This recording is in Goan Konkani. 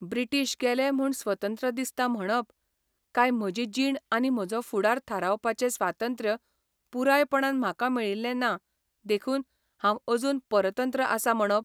ब्रिटिश गेले म्हूण स्वतंत्र दिसता म्हणप, काय म्हजी जीण आनी म्हजो फुडार थारावपाचें स्वातंत्र्य पुरायपणान म्हाका मेळिल्ले ना देखून हांव अजून परतंत्र आसा म्हणप?